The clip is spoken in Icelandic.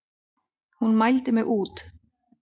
Hún mældi mig út.